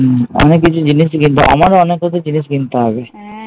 হম অনেক কিছু জিনিসই কিনতে হবে, আমার ও অনেক কিছু জিনিস কিনতে হবে